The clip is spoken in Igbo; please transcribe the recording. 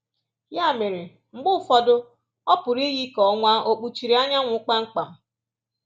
Ya mere, mgbe ụfọdụ, ọ pụrụ iyi ka ọnwa ò kpuchiri anyanwụ kpamkpam